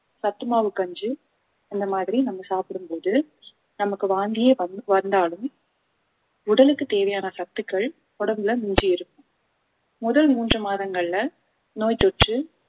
சத்து மாவு கஞ்சி இந்த மாதிரி நம்ம சாப்பிடும்போது நமக்கு வாந்தியே வந்~ வந்தாலும் உடலுக்கு தேவையான சத்துக்கள் உடம்புல மிஞ்சி இருக்கும் முதல் மூன்று மாதங்கள்ல நோய் தொற்று